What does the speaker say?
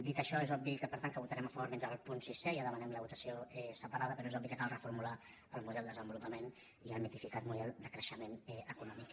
dit això és obvi per tant que hi votarem a favor menys al punt sisè ja en demanem la votació separada però és obvi que cal reformular el model de desenvolupament i el mitificat model de creixement econòmic